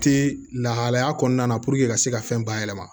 Ti lahalaya kɔnɔna na ka se ka fɛn bayɛlɛma